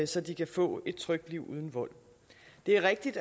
så de kan få et trygt liv uden vold det er rigtigt